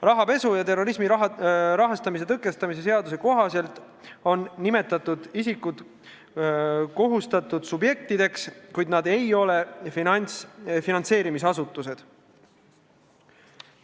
Rahapesu ja terrorismi rahastamise tõkestamise seaduse kohaselt on nimetatud isikud kohustatud subjektid, kuid nad ei ole finantseerimisasutused.